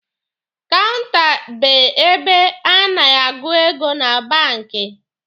Kaụnta be ebe a na-agụ ego na banki.